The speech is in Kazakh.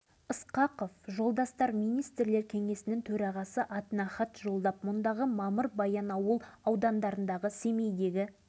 осыған байланысты жылдың қарашасында павлодар облыстық партия комитетінің бірінші хатшысы мен облыстық атқару комитетінің төрағасы